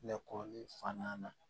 Lakɔli fan na